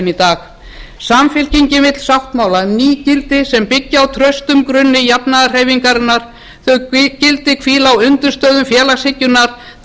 í dag samfylkingin vill sáttmála um ný gildi sem byggi á traustum grunni jafnaðarhreyfingarinnar þau gildi hvíla á undirstöðum félagshyggjunnar þar sem